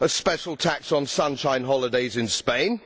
A special tax on sunshine holidays in Spain